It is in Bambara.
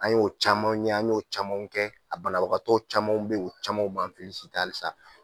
An y'o caman ye, an y'o caman kɛ; a banabagatɔ camanw bɛ yen, camanw b'an hali sisan!